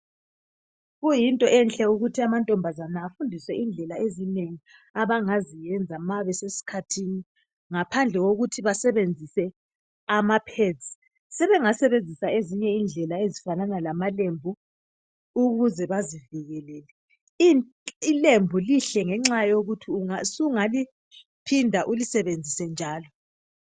Kuyinto enhle ukuthi amantombazana afundiswe indlela ezinengi abangaziyenza ma besesikhathini, ngaphandle kokuthi basebenzise ama pads. Sebengasebenzisa ezinye indlela ezifanana lamalembu ukuze bazivikelele. Ilembu lihle ngenxa yokuthi sungaliphinda ukusebenzise njalo.